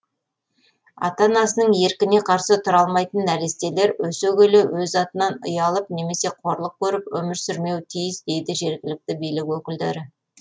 ата анасының еркіне қарсы тұра алмайтын нәрестелер өсе келе өз атынан ұялып немесе қорлық көріп өмір сүрмеуі тиіс дейді жергілікті билік өкілдері